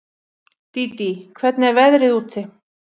Dídí, hvernig er veðrið úti?